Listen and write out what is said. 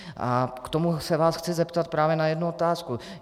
A k tomu se vás chci zeptat právě na jednu otázku.